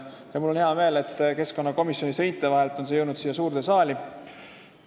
Mul on hea meel, et keskkonnakomisjoni seinte vahelt on see jõudnud siia suurde saali.